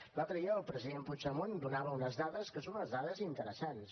l’altre dia el president puigdemont donava unes dades que són unes dades interessants